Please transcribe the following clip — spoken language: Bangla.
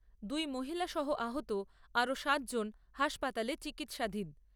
দুই মহিলা সহ আহত আরও সাত জন হাসপাতালে চিকিৎসাধীন।